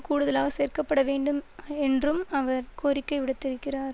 கூடுதலாக சேர்க்க பட வேண்டும் என்றும் அவர் கோரிக்கை விடுத்திருக்கிறார்